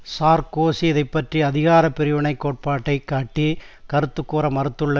Sarkozy இதை பற்றி அதிகார பிரிவினை கோட்பாட்டை காட்டிக் கருத்து கூற மறுத்துள்ள